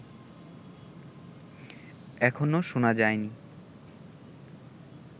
এখনও শোনা যায়নি